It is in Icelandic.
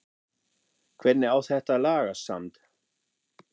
Hvernig á þetta að lagast samt??